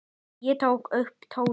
Ég tók upp tólið.